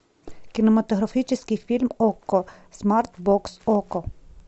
кинематографический фильм окко смарт бокс окко